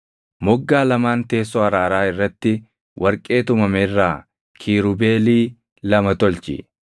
Moggaa lamaan teessoo araaraa irratti warqee tumame irraa Kiirubeelii lama tolchi.